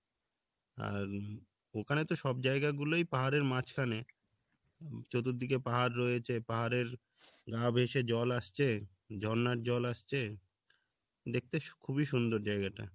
আর ওখানে তো সব জায়গা গুলোই পাহাড় এর মাঝখানে চতুর্দিকে পাহাড় রয়েছে পাহাড়ের গা ঘেঁষে জল আসছে ঝর্নার জল আসছে দেখতে খুবই সুন্দর জায়গাটা